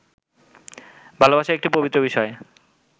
ভালোবাসা একটি পবিত্র বিষয়